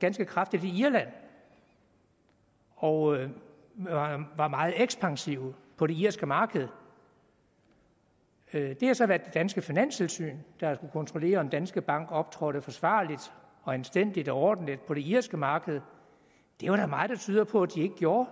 ganske kraftigt i irland og var meget ekspansive på det irske marked det har så været det danske finanstilsyn der har kontrollere om danske bank optrådte forsvarligt anstændigt og ordentligt på det irske marked det er der meget der tyder på at de ikke gjorde